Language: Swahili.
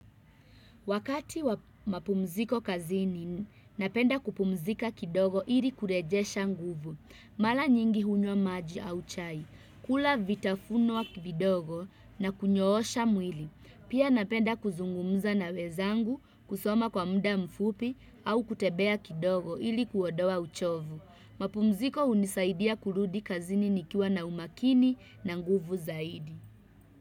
Wakati wa mapumziko kazini, napenda kupumzika kidogo ili kureje shanguvu, mala nyingi hunywa maji au chai, kula vitafunwa vidogo na kunyoosha mwili. Pia napenda kuzungumza na wezangu, kusoma kwa mda mfupi au kutebea kidogo ili kuodoa uchovu. Mapumziko unisaidia kurudi kazini nikiwa na umakini na nguvu zaidi.